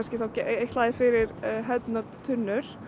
ætlaðar fyrir hefðbundnar tunnur